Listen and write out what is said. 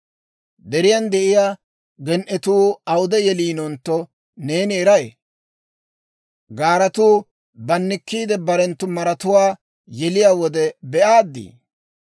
«Deriyan de'iyaa gen"etuu awude yeliinontto, neeni eray? Gaaratuu bannikkiide, barenttu maratuwaa yeliyaa wode be'aaddi?